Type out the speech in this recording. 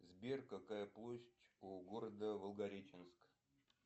сбер какая площадь у города волгореченск